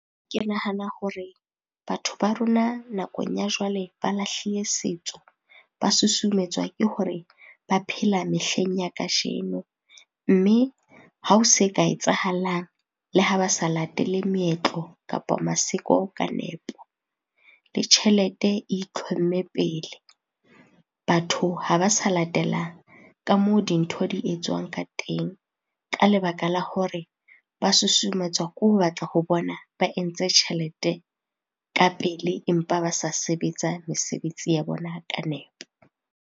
Ke nahana hore batho ba rona nakong ya jwale ba lahlile setso, ba susumetswa ke hore ba phela mehleng ya kajeno. Mme ha ho se ka etsahalang le ha ba sa latele meetlo kapa maseko ka nepo. Le tjhelete e itlhomme pele, batho ha ba sa latela ka moo dintho di etswang ka teng, ka lebaka la hore ba susumetswa ke ho batla ho bona ba entse tjhelete ka pele empa ba sa sebetsa mesebetsi ya bona ka nepo.